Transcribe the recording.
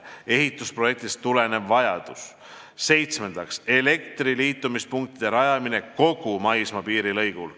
Seitsmendaks, elektrivarustuse liitumispunktide rajamine kogu maismaapiiri lõigul.